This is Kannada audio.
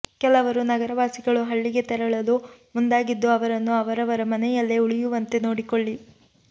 ಕೆಲವರು ನಗರವಾಸಿಗಳು ಹಳ್ಳಿಗೆ ತೆರಳಲು ಮುಂದಾಗಿದ್ದು ಅವರನ್ನು ಅವರವರ ಮನೆಯಲ್ಲೇ ಉಳಿಯುವಂತೆ ನೋಡಿಕೊಳ್ಳಿ